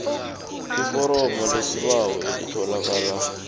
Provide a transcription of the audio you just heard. iforomo lesibawo elitholakala